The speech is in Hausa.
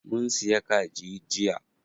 Mun siya kaji jiya.